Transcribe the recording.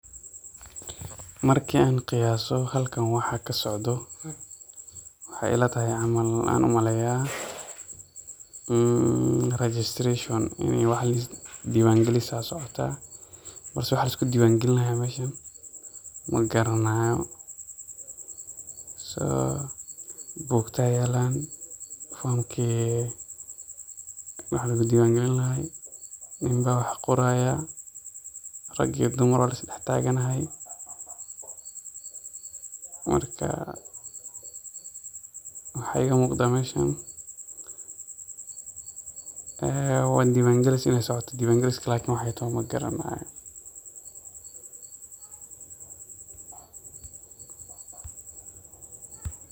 Marki an qiyaaso halkan waxa kasocdo, waxay ilatahay camal an umaleya registration ini wax lis diwan gelis aya socota, mase waxa lisku diwan gelinayo meshan magaranayo, so bugta yalan, fomki wax lugu diwan gelin lahay, nin ba wax qoraya, rag iyo dumar waa lis dhax taganahay, marka waxa iga muqda meshan ee waa diwan gelis inu socoto lakin diwan gelisk magaranay.